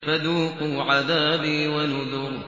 فَذُوقُوا عَذَابِي وَنُذُرِ